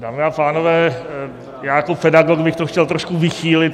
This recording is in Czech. Dámy a pánové, já jako pedagog bych to chtěl trošku vychýlit.